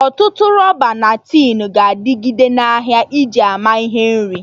Ọtụtụ rọba na tin ga-adịgide na ahịa iji ama ihe nri